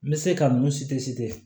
N bɛ se ka mun